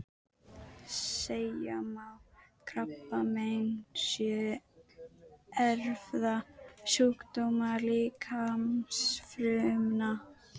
Segja má að krabbamein séu erfðasjúkdómar líkamsfrumna.